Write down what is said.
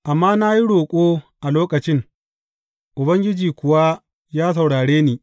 Amma na yi roƙo a lokacin, Ubangiji kuwa ya saurare ni.